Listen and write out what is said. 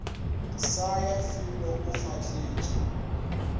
sa ya felo o fahletše